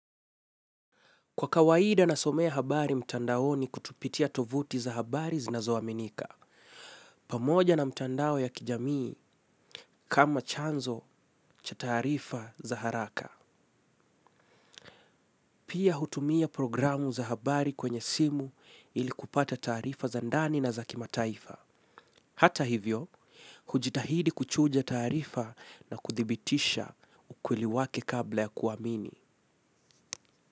Kwa kawaida na somea habari mtandaoni kupitia tovuti za habari zinazoaminika. Pamoja na mtandao ya kijamii kama chanzo cha tarifa za haraka. Pia hutumia programu za habari kwenye simu ili kupata tarifa za ndani na za kimataifa. Hata hivyo, hujitahidi kuchuja tarifa na kuthibitisha ukweli wake kabla ya kuamini.